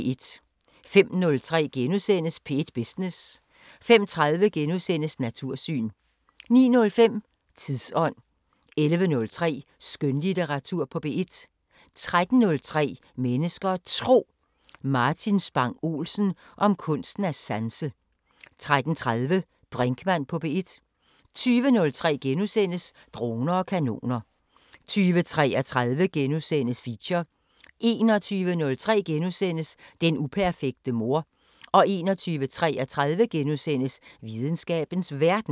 05:03: P1 Business * 05:30: Natursyn * 09:05: Tidsånd 11:03: Skønlitteratur på P1 13:03: Mennesker og Tro: Martin Spang Olsen om kunsten at sanse 13:30: Brinkmann på P1 20:03: Droner og kanoner * 20:33: Feature * 21:03: Den uperfekte mor * 21:33: Videnskabens Verden *